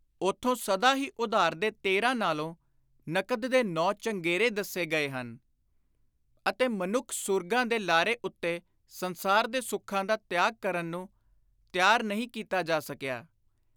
ਉਥੋਂ ਸਦਾ ਹੀ ਉਧਾਰ ਦੇ ਤੇਰ੍ਹਾਂ ਨਾਲੋਂ ਨਕਦ ਦੇ ਨੌਂ ਚੰਗੇਰੇ ਦੱਸੋ ਗਏ ਹਨ ਅਤੇ ਮਨੁੱਖ ਸੂਰਗਾਂ ਦੇ ਲਾਰੇ ਉੱਤੇ ਸੰਸਾਰ ਦੇ ਸੁੱਖਾਂ ਦਾ ਤਿਆਗ ਕਰਨ ਨੂੰ ਤਿਆਰ ਨਹੀਂ ਕੀਤਾ ਜਾ ਸਕਿਆ।